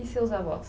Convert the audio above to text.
E seus avós?